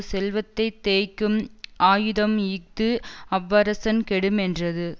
செல்வத்தை தேய்க்கும் ஆயுதம் இஃது அவ்வரசன் கெடுமென்றது